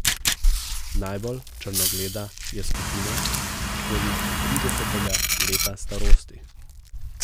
Najbolj črnogleda je skupina okoli tridesetega leta starosti.